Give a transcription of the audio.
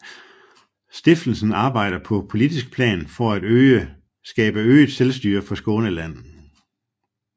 Stiftelsen arbejder på politisk plan for at skabe øget selvstyre for Skåneland